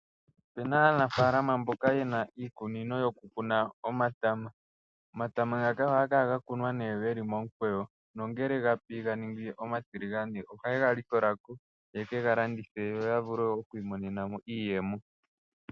Opena aanafalama mboka ye na iikunino yoku kuna omatama. Omatama ngaka oha ga kala ga kunwa geli momukweyo, nongele ga pi ganingi omatiligane oha ye ga likola ko, ye ke ga landithe yo ya vule okwiimonena mo iiyemo.